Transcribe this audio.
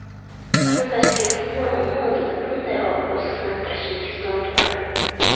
Bizni tashkilotni omma oldida bunday obro‘sizlantirishingiz noto‘g‘ri”.